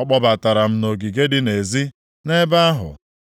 Ọ kpọbatara m nʼogige dị nʼezi. Nʼebe ahụ,